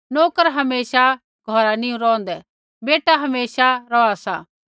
नोकर हमेशा घौरा नी रौंहदै बेटा हमेशा रौहा सा